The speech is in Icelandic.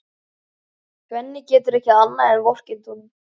Svenni getur ekki annað en vorkennt honum.